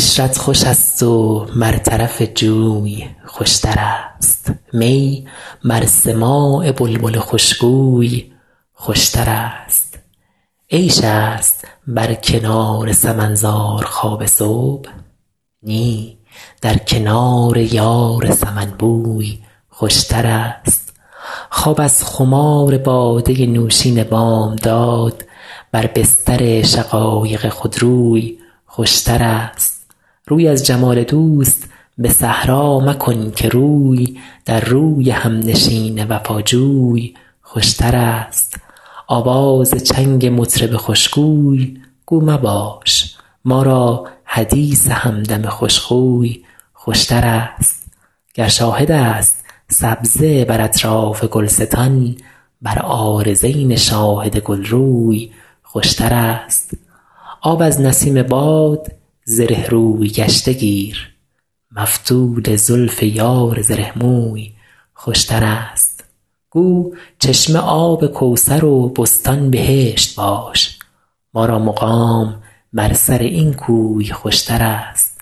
عشرت خوش است و بر طرف جوی خوشترست می بر سماع بلبل خوشگوی خوشترست عیش است بر کنار سمن زار خواب صبح نی در کنار یار سمن بوی خوشترست خواب از خمار باده نوشین بامداد بر بستر شقایق خودروی خوشترست روی از جمال دوست به صحرا مکن که روی در روی همنشین وفاجوی خوشترست آواز چنگ مطرب خوشگوی گو مباش ما را حدیث همدم خوشخوی خوشترست گر شاهد است سبزه بر اطراف گلستان بر عارضین شاهد گلروی خوشترست آب از نسیم باد زره روی گشته گیر مفتول زلف یار زره موی خوشترست گو چشمه آب کوثر و بستان بهشت باش ما را مقام بر سر این کوی خوشترست